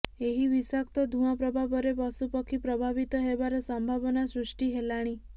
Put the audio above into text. ଏହି ବିଷାକ୍ତ ଧୂଆଁ ପ୍ରଭାବରେ ପଶୁପକ୍ଷୀ ପ୍ରଭାବିତ ହେବାର ସମ୍ଭାବନା ସୃଷ୍ଟି ହେଲାଣି